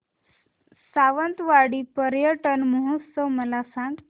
सावंतवाडी पर्यटन महोत्सव मला सांग